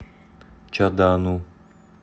чадану